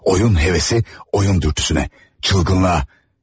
Oyun hevesi oyun dürtüsünə, çılgınlığa.